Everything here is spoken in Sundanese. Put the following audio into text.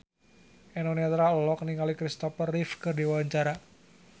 Eno Netral olohok ningali Christopher Reeve keur diwawancara